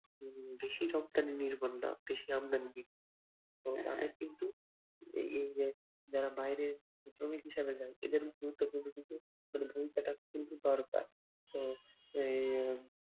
উম বেশি রপ্তানি বেশি আমদানি বিল তো তাদের কিন্তু এই যে যারা বাইরে শ্রমিক হিসেবে যায় এদের গুরুত্বপূর্ণ কিন্তু মানে ভূমিকাটা কিন্তু দরকার